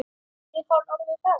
Er hann orðinn hress?